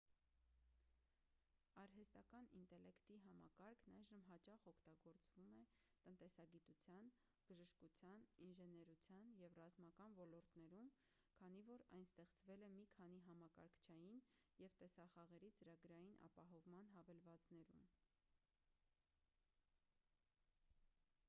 արհեստական ինտելեկտի համակարգն այժմ հաճախ օգտագործվում է տնտեսագիտության բժշկության ինժեներության և ռազմական ոլորտներում քանի որ այն ստեղծվել է մի քանի համակարգչային և տեսախաղերի ծրագրային ապահովման հավելվածներում